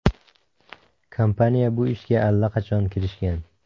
Kompaniya bu ishga allaqachon kirishgan.